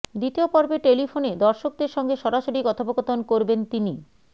দ্বিতীয় পর্বে টেলিফোনে দর্শকদের সঙ্গে সরাসরি কথোপকথন করবেন তিনি